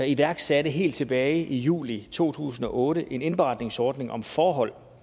iværksatte helt tilbage i juli to tusind og otte en indberetningsordning og forhold